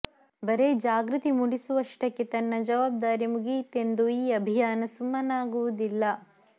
ಬರೇ ಜಾಗೃತಿ ಮೂಡಿಸುವಷ್ಟಕ್ಕೆ ತನ್ನ ಜವಾಬ್ದಾರಿ ಮುಗಿಯಿತೆಂದು ಈ ಅಭಿಯಾನ ಸುಮ್ಮನಾಗುವುದಿಲ್ಲ